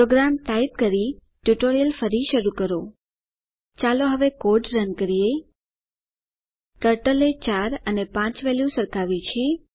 programme type કરીને પછી tutorial ફરી શરૂ કરો ચાલો હવે કોડ રન કરીએ ટર્ટલએ 4 અને 5 વેલ્યુ સરખાવ્યા છે